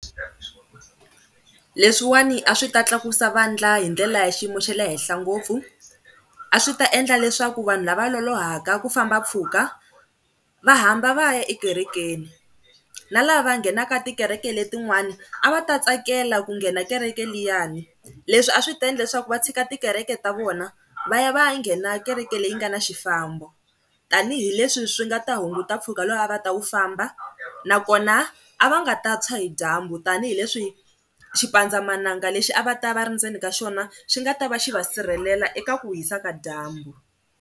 Leswiwani a swi ta tlakusa vandla hi ndlela ya xiyimo xa le henhla ngopfu, a swi ta endla leswaku vanhu lava lolohaka ku famba mpfhuka va hamba va ya ekerekeni. Na lava nghenaka tikereke letin'wana a va ta tsakela ku nghena kereke liyani. Leswi a swi ta endla swa ku va tshika tikereke ta vona va ya va ya nghena kereke leyi nga na xifambo tanihileswi swi nga ta hunguta mpfhuka lowu a va ta wu famba nakona a va nga ta tshwa hi dyambu tanihileswi xipandzamananga lexi a va ta va va ri ndzeni ka xona xi nga ta va xi va sirhelela eka ku hisa ka dyambu.